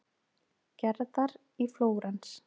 Gerðar í Flórens.